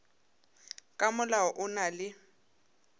ka molao o na le